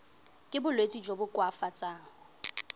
ka bolwetsi jo bo koafatsang